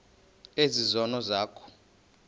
ezi zono zakho